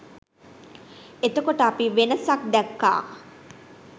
එතකොට අපි වෙනසක් දැක්කා